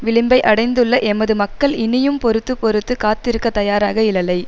விளிம்பை அடைந்துள்ள எமது மக்கள் இனியும் பொறுத்து பொறுத்து காத்திருக்கத் தயாராக இலலை